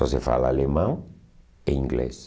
Só se fala alemão e inglês.